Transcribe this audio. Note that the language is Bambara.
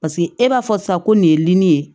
Paseke e b'a fɔ sa ko nin ye nin ye